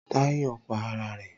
Táyò pa ara rè